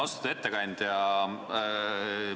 Austatud ettekandja!